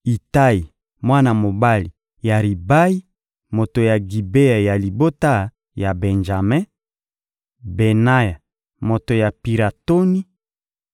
Itayi, mwana mobali ya Ribayi, moto ya Gibea ya libota ya Benjame; Benaya, moto ya Piratoni;